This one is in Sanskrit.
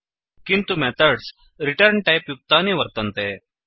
किन्तु मेथड्स् रिटर्न्टैप् युक्तानि वर्तन्ते